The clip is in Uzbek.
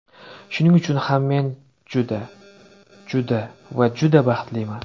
Shuning uchun ham men juda, juda va juda baxtliman!